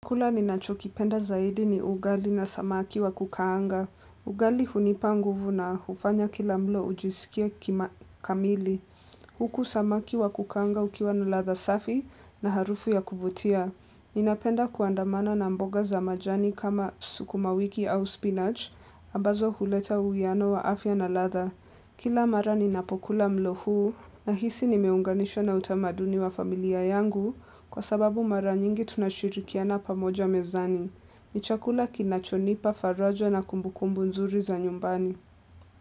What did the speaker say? Chakula ninachokipenda zaidi ni ugali na samaki wa kukaanga. Ugali hunipa nguvu na hufanya kila mlo ujisikie kamili. Huku samaki wa kukaanga ukiwa na ladha safi na harufu ya kuvutia. Ninapenda kuandamana na mboga za majani kama sukumawiki au spinach, ambazo huleta uwiano wa afya na ladha. Kila mara ninapokula mlo huu, nahisi nimeunganishwa na utamaduni wa familia yangu, kwa sababu mara nyingi tunashirikiana pamoja mezani. Ni chakula kinachonipa faraja na kumbukumbu nzuri za nyumbani.